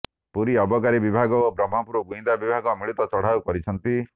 ପୁରୀ ଅବକାରୀ ବିଭାଗ ଓ ବ୍ରହ୍ମପୁର ଗୁଇନ୍ଦା ବିଭାଗ ମିଳିତ ଚଢ଼ଉ କରିଛନ୍ତି